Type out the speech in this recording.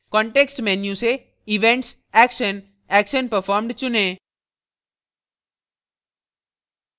context menu से events action action performed चुनें